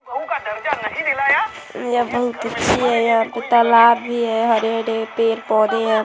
यहाँ पर तलाब भी है हरे -हरे पेड़ -पौधे है ।